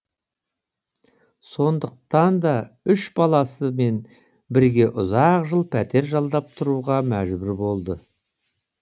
сондықтан да үш баласымен бірге ұзақ жыл пәтер жалдап тұруға мәжбүр болды